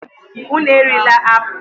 Unu erila apụl!